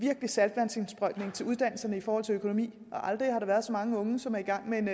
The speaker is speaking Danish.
saltvandsindsprøjtning til uddannelserne i forhold til økonomi aldrig har der været så mange unge som er i gang med en